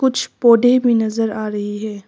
कुछ पौधे भी नजर आ रही है।